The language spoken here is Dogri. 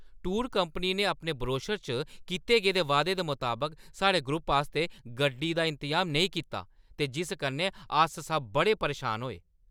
टूर कंपनी ने अपने ब्रोशर च कीते गेदे वादे दे मताबक साढ़े ग्रुप आस्तै गड्डी दा इंतजाम नेईं कीता ते जिस कन्नै अस सब बड़े परेशान होए।